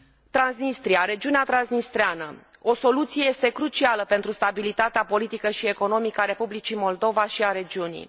Transnistria, regiunea transnistreană o soluție este crucială pentru stabilitatea politică și economică a Republicii Moldova și a regiunii.